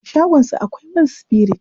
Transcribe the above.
A shagonsa akwai man sifirit.